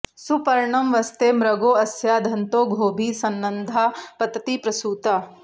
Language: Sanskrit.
सुपर्णं वस्ते मृगो अस्या दन्तो गोभिः संनद्धा पतति प्रसूता